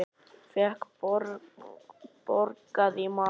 Fékk borgað í mat.